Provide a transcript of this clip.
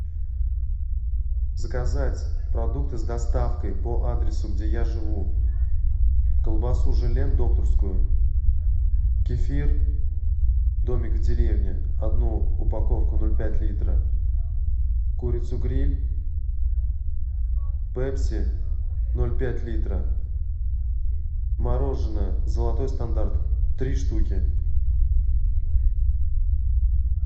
заказать продукты с доставкой по адресу где я живу колбасу желен докторскую кефир домик в деревне одну упаковку ноль пять литра курицу гриль пепси ноль пять литра мороженое золотой стандарт три штуки